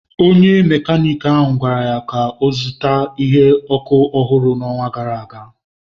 Onye Mekaniki ahụ gwara ya ka ọ zụta isi ọkụ ọhụrụ n'ọnwa gara aga.